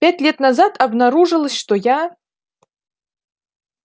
пять лет назад обнаружилось что я